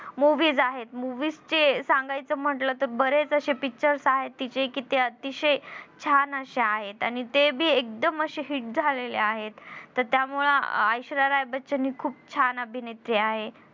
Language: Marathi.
movies आहेत movies च्ये सागांयच म्हंटलं तर बरेच अशे pictures आहेत तीच्ये की ते अतिशय छान अशे आहेत आणि ते बी एकदम अशे hit झालेले आहेत तर त्यामुळं ऐश्वर्या राय बच्चन हि खूप छान अभिनेत्री आहे.